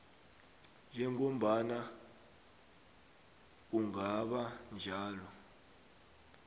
njengombana kungaba njalo